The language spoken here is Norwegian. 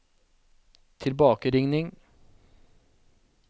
tilbakeringing